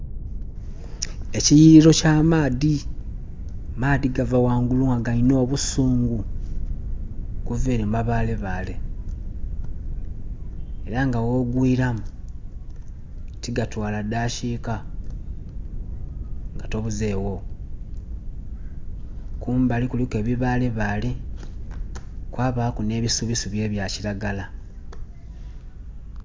Ekiyiriro kya maadhi, amaadhi gava ghangulu nga galinha obusuungu okuva ere mu mabale bale era nga gho ggwiramu tigatwala dhakika nga tobuzegho, kumbali kuliku ebibale bale kwabaku nhe bisubi sibi ebay kiagala.